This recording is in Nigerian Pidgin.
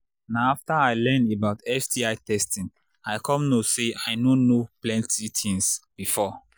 na after i learn about sti testing i come know say i no too know plenty things before